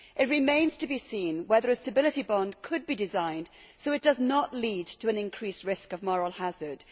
It remains to be seen whether a stability bond could be designed so that it does not lead to an increased risk of moral hazard.